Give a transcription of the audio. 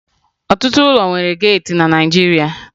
Ọtụtụ ụlọ nwere geeti na Naịjirịa